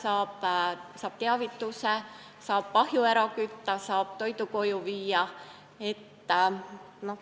Ta saab teavituse, nii et ta saab ahju ära kütta ja toidu koju viia.